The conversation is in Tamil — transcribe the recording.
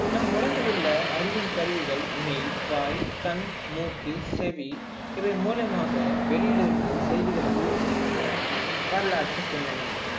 நம் உடம்பில் உள்ள அறியும் கருவிகள் மெய், வாய், கண், மூக்கு, செவி இவை மூலமாக வெளியில் இருந்து செய்திகள் உள்ளே செல்கின்றன வரலாற்று பின்னணி